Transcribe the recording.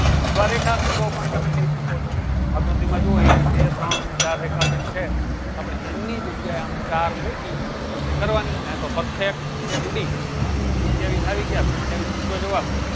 અથવા રેખા ખંડો પણ તમે કરી શકો છો આકૃતિ માં જુવો એક બે ત્રણ અને ચાર રેખા ખંડ છે આપળે n ની જગ્યા ચાર મૂકી ગણતરી કરવાની ને perfect સત્યાવીસ આવી ગયા સત્યાવીસ સીધો જવાબ